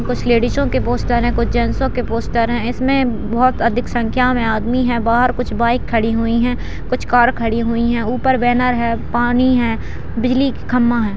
कुछ लेडीजों के पोस्टर हैं कुछ जेंटसो के पोस्टर हैं इसमें बहुत अधिक संख्या में आदमी हैं। बाहर कुछ बाइक खड़ी हुई हैं कुछ कार खड़ी हुई हैं ऊपर बैनर है पानी है बिजली का खंभा है।